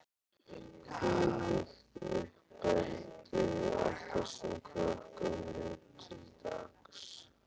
Hvílíkt uppeldi á þessum krökkum nú til dags!